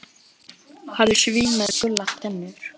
Hann er svín með gular tennur.